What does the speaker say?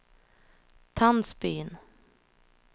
Tandsbyn